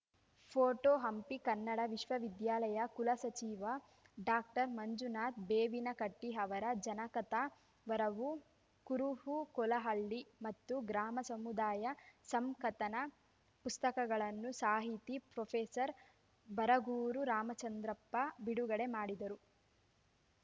photo Hampi Kannada ವಿಶ್ವವಿದ್ಯಾಲಯ ಕುಲಸಚಿವ doctor Manjunatha ಬೇವಿನಕಟ್ಟಿಅವರ ಜನಕಥ ವರವು ಕುರುಹು ಕೊಲಹಳ್ಳಿ ಮತ್ತು ಗ್ರಾಮ ಸಮುದಾಯ ಸಂಕಥನ ಪುಸ್ತಕಗಳನ್ನು ಸಾಹಿತಿ ಪ್ರೊಫೆಸರ್ ಬರಗೂರು ರಾಮಚಂದ್ರಪ್ಪ ಬಿಡುಗಡೆ ಮಾಡಿದರು